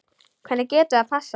Hvernig getur það passað?